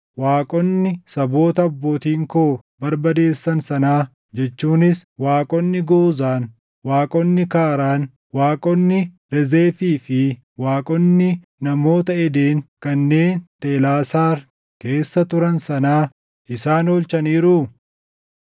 Waaqonni saboota abbootiin koo barbadeessan sanaa jechuunis waaqonni Goozaan, waaqonni Kaaraan, waaqonni Rezefii fi waaqonni namoota Eden kanneen Telaasaar keessa turan sanaa isaan oolchaniiruu?